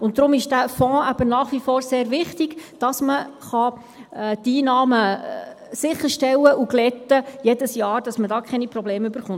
Deshalb ist dieser Fonds eben nach wie vor sehr wichtig, damit man die Einnahmen jedes Jahr sicherstellen und glätten kann und keine Probleme bekommt.